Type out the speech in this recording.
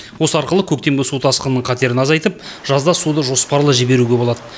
осы арқылы көктемгі су тасқынының қатерін азайтып жазда суды жоспарлы жіберуге болады